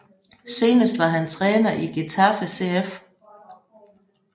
Senest var han træner i Getafe CF